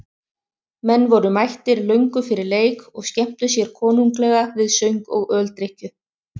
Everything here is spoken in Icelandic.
Menn voru mættir löngu fyrir leik og skemmtu sér konunglega við söng og öldrykkju.